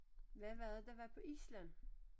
Hvad var det der var på Island?